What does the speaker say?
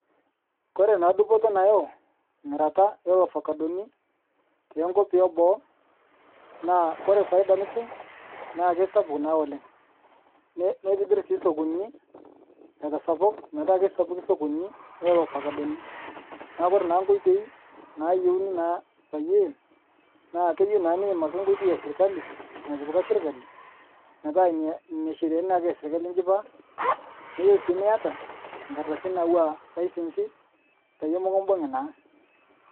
Kore naa dupoto nayeu mirata elofacadoni te nkopi eboo, naa kore faida nitum naa keisapuk naa oleng'. Neitibir sii sokonini aitasapuk petaa keisapuki sokoninj naa elofacadoni. Naa kore naa nkoitoi naayeuni naa paaye, naa keyeu ake niim nkotoi esirkali natiptka sirkali, meta inn inia shireani naake esirkali ijipaa. Neyeu sii niata nkardasini nauwaa lisensi paye mukubung'i naa.